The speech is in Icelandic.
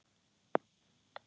Hún virtist á báðum áttum.